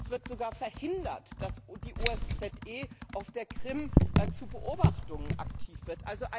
Es wird sogar verhindert, dass die OSZE auf der Krim zur Beobachtung aktiv wird.